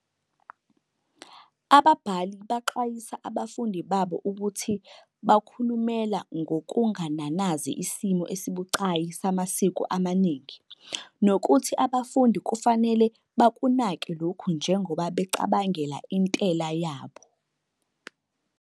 Ababhali baxwayisa abafundi babo ukuthi bakhulumela ngokungananazi isimo esibucayi samasiko amaningi nokuthi abafundi kufanele bakunake lokhu njengoba becabangela intela yabo.